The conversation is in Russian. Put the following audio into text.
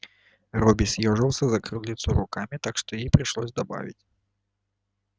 робби съёжился закрыв лицо руками так что ей пришлось добавить